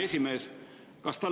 Aitäh!